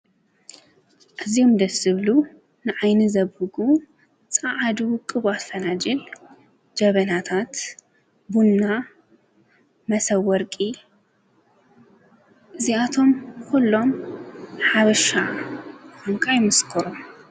እዙም ደስብሉ ንዓይኒ ዘብጉ ፀዓዱ ቅቡፈናጅል ጀበናታት ቡና መሠወርቂ እዚኣቶም ዂሎም ሓብሻ እንቃ ይምስ ክሩ ።